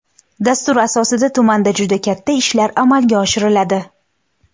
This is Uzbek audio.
Dastur asosida tumanda juda katta ishlar amalga oshiriladi.